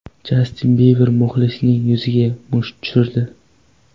Jastin Biber muxlisining yuziga musht tushirdi .